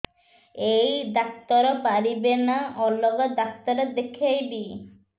ଏଇ ଡ଼ାକ୍ତର ପାରିବେ ନା ଅଲଗା ଡ଼ାକ୍ତର ଦେଖେଇବି